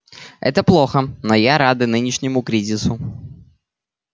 это плохо но я рада нынешнему кризису